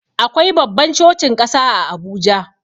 Akwai babban cocin ƙasa a Abuja.